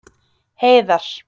Heiðar